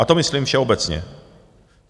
A to myslím všeobecně.